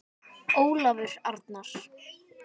Ólafur Arnar.